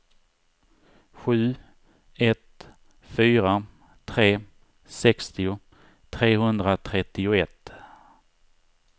sju ett fyra tre sextio trehundratrettioett